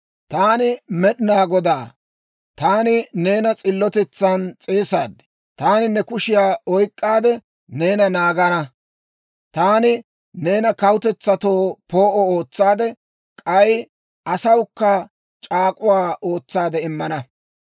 «Taani Med'inaa Godaa; taani neena s'illotetsan s'eesaad; taani ne kushiyaa oyk'k'aade, neena naagana. Taani neena kawutetsatoo poo'o ootsaade, k'ay asawukka c'aak'uwaa ootsaade immana.